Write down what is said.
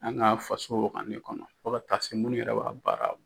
An ka faso wagane kɔnɔ fɔ ka taa se minnu yɛrɛ b'a baara.